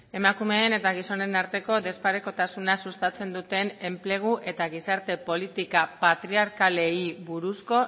emakumeen eta gizonen arteko desparekotasuna sustatzen duten enplegu eta gizarte politika patriarkalei buruzko